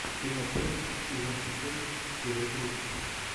кино пресса сезон четыре серия тридцать